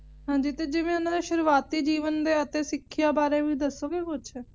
ਹਾਂਜੀ ਤੇ ਜਿਵੇਂ ਓਹਨਾ ਦੇ ਸ਼ੁਰੂਆਤੀ ਜੀਵਨ ਦੇ ਸਿੱਖਿਆ ਬਾਰੇ ਵੀ ਦਸੋਗੇ ਕੁੱਛ